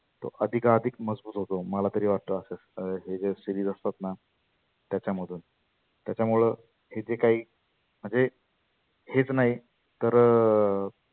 तो अधीका अधीक मजबुत होतो. मला तरी वाटतं असं हे ज्या series असतात ना त्याच्यामधुन त्याच्यामुळ तिथे काही म्हणजे हेच नाही तर.